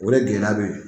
O de gɛlɛya be yen